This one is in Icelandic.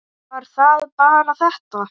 Var það bara þetta?